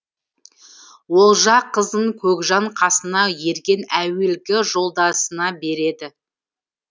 олжа қызын көкжан қасына ерген әуелгі жолдасына береді